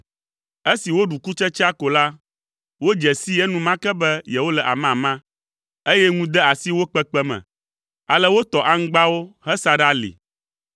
Esi woɖu kutsetsea ko la, wodze sii enumake be yewole amama, eye ŋu de asi wo kpekpe me. Ale wotɔ aŋgbawo hesa ɖe ali.